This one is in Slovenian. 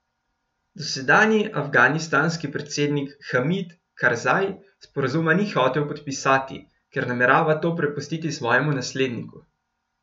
Dosedanji afganistanski predsednik Hamid Karzaj sporazuma ni hotel podpisati, ker namerava to prepustiti svojemu nasledniku.